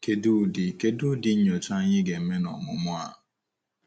Kedụ ụdị Kedụ ụdị nnyocha anyị ga-eme n’ọmụmụ a?